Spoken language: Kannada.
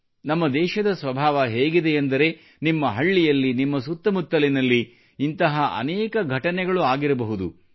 ನಮ್ಮ ದೇಶದ ಸ್ವಭಾವ ಹೇಗಿದೆ ಎಂದರೆ ನಿಮ್ಮ ಹಳ್ಳಿಯಲ್ಲಿ ನಿಮ್ಮ ಸುತ್ತಮುತ್ತಲಿನಲ್ಲಿ ಇಂತಹ ಅನೇಕ ಘಟನೆಗಳು ಆಗಿರಬಹುದು